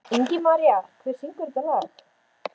Ingimaría, hver syngur þetta lag?